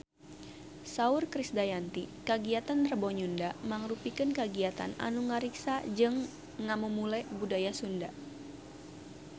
Saur Krisdayanti kagiatan Rebo Nyunda mangrupikeun kagiatan anu ngariksa jeung ngamumule budaya Sunda